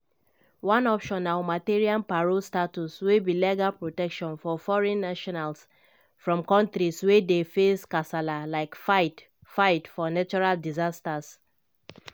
one option na humanitarian parole status wey be legal protection for foreign nationals from kontris wey dey face kasala like fight-fight for natural disasters.